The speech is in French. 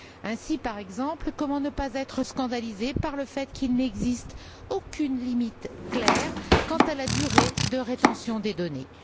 Ainsi, par exemple, comment ne pas être scandalisé par le fait qu'il n'existe aucune limite claire quant à la durée de rétention des données.